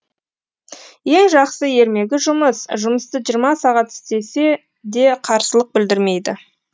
ең жақсы ермегі жұмыс жұмысты жиырма сағат істесе де қарсылық білдірмейді